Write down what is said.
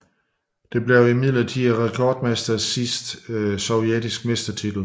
Det blev imidlertid rekordmestrenes sidste sovjetiske mestertitel